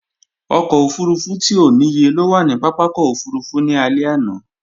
Ọkọ̀ òfurufú tí ò níye ló wà ní pápákọ̀ òfurufú ní alẹ́ àná